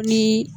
Ni